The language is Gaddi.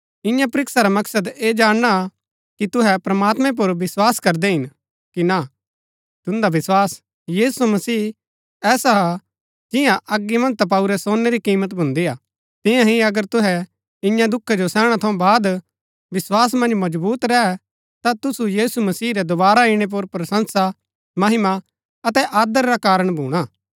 इन्या परीक्षा रा मकसद ऐह जाणना हा कि तुहै प्रमात्मैं पुर विस्वास करदै हिन कि ना तुन्दा विस्वास यीशु मसीह ऐसा हा जिन्या अगी मन्ज तपाऊरै सोनै री कीमत भून्दी हा तिन्या ही अगर तुहै इन्या दुखा जो सैहणै थऊँ बाद विस्वास मन्ज मजबुत रैह ता तुसु यीशु मसीह रै दोवारा इणै पुर प्रशंसा महिमा अतै आदर रा कारण भूणा